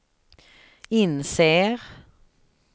inser